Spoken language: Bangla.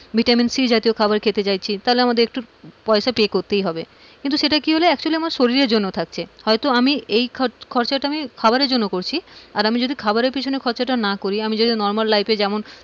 ভিটামিন সি জাতীয় খাবার খেতে চাইছি, তাহলে আমাদের একটু পয়সা pay করতেই হবে কিন্তু সেটা কি হলো actually আমার শরীরের জন্য থাকছে হয়তো আমি এই খরচটা আমি খাবারের জন্য করছি, আর আমি যদি খাবারের পিছনে না করি আমি যদি normal life এ যেমন,